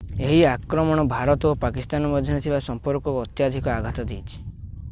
ଏହି ଆକ୍ରମଣ ଭାରତ ଓ ପାକିସ୍ଥାନ ମଧ୍ୟରେ ଥିବା ସମ୍ପର୍କକୁ ଅତ୍ୟଧିକ ଆଘାତ ଦେଇଛି